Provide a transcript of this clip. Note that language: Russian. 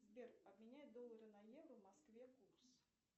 сбер обменяй доллары на евро в москве курс